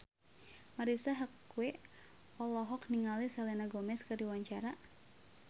Marisa Haque olohok ningali Selena Gomez keur diwawancara